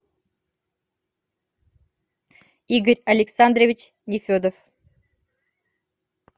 игорь александрович нефедов